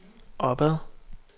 opad